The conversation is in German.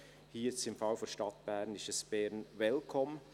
Hier, im Fall der Stadt Bern, ist es Bern Welcome.